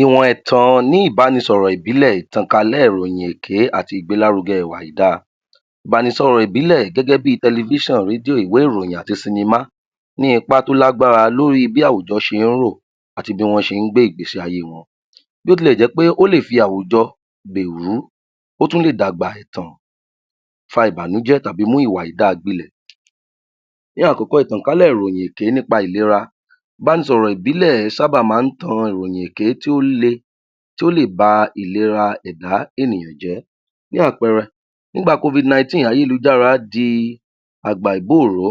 Ìwọn ẹ̀tàn ní ìbánisọ̀rọ̀ ìbílẹ̀, ìtànkálè ìròyìn èké àti ìgbélárugẹ ìwà àìda, ìbánisọ̀rọ̀ ìbílẹ̀ gẹ́gẹ́ bí tẹlẹfíṣàn, rédíò, ìwé ìròyìn àti sinimá, ní ipa tó lágbara lóri bí àwùjọ ṣe ń ró àti bí wọ́n ṣe ń gbé ìgbésí ayé wọn. Bí ó ti lè jẹ́ wí pé ó lè fi àwùjọ gbèrú, ó tún lè dàgbà ẹ̀tàn, fa ìbànújẹ́, tàbí mú ìwà àìda gbilẹ̀. Ní àkọ́kọ́, ìtànkálẹ̀ ìròyìn èké nípa ìlera, ìbánisọ̀rọ̀ ìbílẹ̀ sábà máa ń tan ìròyìn èké tí ó le tí ó lè ba ìlera ẹ̀dá ènìyàn jẹ́, bí àpẹẹrẹ, nígbà ayélujára di àgbà ìgbóhun ró,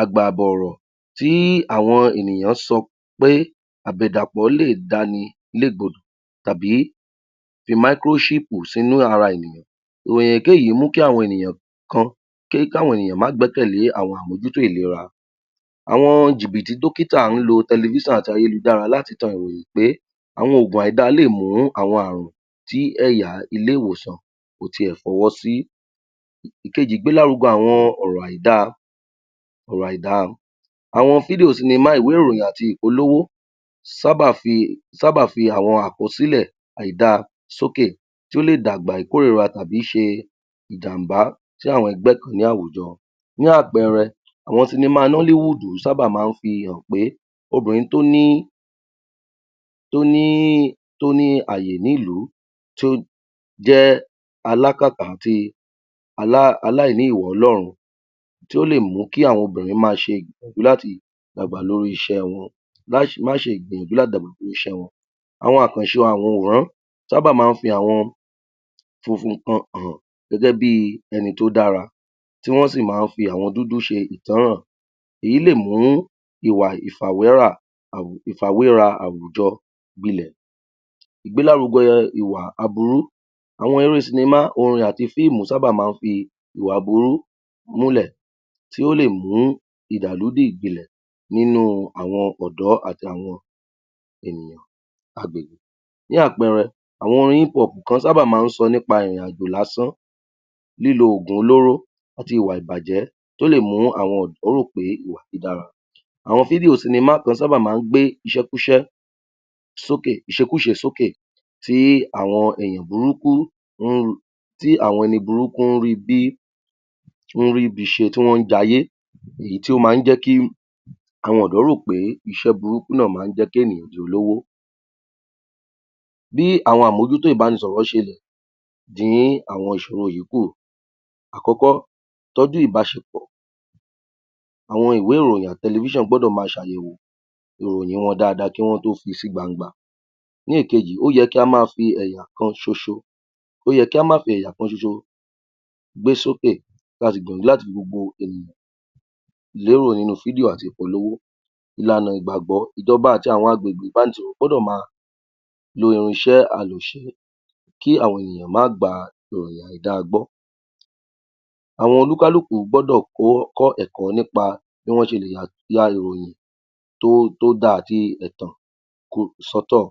àgbà àbọ̀rọ̀ tí àwọn ènìyàn sọ pé àbẹ̀dàpọ̀ lè dáni légbodò tàbí fi sínu ara ènìyàn, ìròyìn èké yí mú kí àwọn ènìyàn kan kí àwọn ènìyàn má gbẹkẹ̀lé àwọn àmójútó ìlera, àwọn jìbìtì dókítà ń lo tẹlẹfíṣàn àti ayélujára láti tan ìròyìn pé àwọn ògùn àìda lè mú àwọn àrùn tí ẹ̀yà ilé ìwòsàn kò ti ẹ̀ fọwọ́sí. Ìkejì, ìgbélárugẹ àwọn ọ̀rọ̀ àìda, ọ̀rọ̀ àìda, àwọn fídíò, sinimá, ìwé ìròyìn àti ìpolówó sábà fi àwọn àkosílẹ̀ àìda sókè tí ó lè dàgbà ìkórìra tàbí ṣe ìjam̀bá sí àwọn ẹgbẹ́ kan ní àwùjọ, fún àpẹẹrẹ, àwọn sinimá sábà máa ń fi hàn pé obìnrin tó ní àyè nílù, tó jẹ́ alákàtà àti aláìní ìwà ọlọ́run tí ó lè mú kí àwọn obìnrin ma ṣe láti dàgbà lóri iṣẹ́ wọn, àwọn àkànṣe àwọn òǹworán sábà máa ń fi àwọn funfun kan hàn gẹ́gẹ́ bí ẹni tó dára tí wọ́n sì máa ń fi àwọn dúdú ṣe ìtáhàn, èyí lè mú ìwà ìfàwéra àwùjọ gbilẹ̀. Ìgbélárugẹ ìwà aburú, àwọn eré sinimá orin àti fíìmù sábà máa ń fi ìwà aburú múlẹ̀ tí ó lè mú nínú àwọn ọ̀dọ̀ àti àwọn ènìyàn agbègbè, fún àpẹẹrẹ, àwọn orin kan sábà máa ń sọ nípa ìrìn àjò lásán, lílo ògùn olóró àti ìwà ìbàjẹ́ tó lè mú àwọn ọ̀dọ́ rò pé ìwà tó dára, àwọn fídíò sinimá kan sábà máa ń gbé ìṣekúṣe sókè tí àwọn ẹni burúkú ń ri bí, ń ríbi ṣe, tí wọ́n ń jayé, èyí tí ó máa ń jẹ́ kí àwọn ọ̀dọ́ rò pé iṣẹ́ burúkú náà máa ń jẹ́ kí ènìyàn di olówó. Bí àwọn àmójútó ìbánisọ̀rọ̀ ṣe lè dín àwọn ìṣòro yí kù. Àkọ́kọ́, ìtọ́jú ilbáṣepọ̀, àwọn ìwé ìròyìn, tẹlẹfíṣàn gbọ́dọ̀ ma ṣe àyẹ̀wò ìròyìn wọn daada kí wọ́n tó fi sí gbangba. Ní ìkejì, ó yẹ kí á má fi ẹ̀yà kan ṣoṣo gbé sókè, ka sì gbìyànjú láti lérò nínú fídíò àti ìpolówó, ìlànà ìgbàgbọ́, ìjọba àti àwọn agbegbe gbọ́dọ̀ ma lo irinṣẹ́ kí àwọn ènìyàn má gba ìròyìn àìda gbọ́, àwọn olúkálùkù gbọ́dọ̀ kọ́ ẹ̀kọ́ nípa bí wọn ṣe lè ya ìròyìn tóda àti ẹ̀tàn sọ́tọ̀.